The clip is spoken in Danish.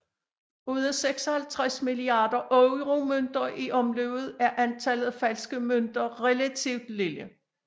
Ud af 56 milliarder euromønter i omløb er antallet af falske mønter relativt lille